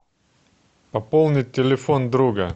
пополнить телефон друга